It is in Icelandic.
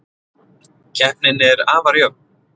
Keppnin er afar jöfn